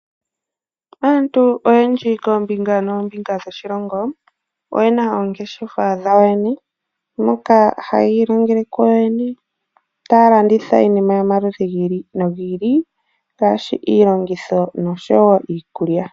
Aantu oyendji kombinga nombimga dhoshilongo oyena oongeshefa dhawo moka hayi ilongele kuyo yene taalanditha iinima yomaludhi gili nogi ili. Ngaashi iilongitho noshowo iikulya.